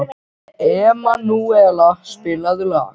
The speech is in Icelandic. Emanúela, spilaðu lag.